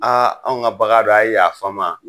Aa anw ka bagan do a ye yaf'an ma